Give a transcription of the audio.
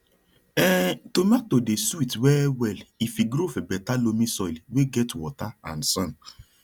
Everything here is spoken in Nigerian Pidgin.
um tomato dey sweet well well if e grow for better loamy soil wey get water and sun